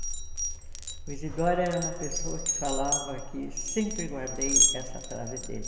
O Isidoro era uma pessoa que falava, que sempre guardei essa frase dele,